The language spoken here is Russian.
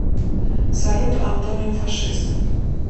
салют антоним фашист